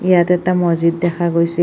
ইয়াত এটা মছজিত দেখা গৈছে।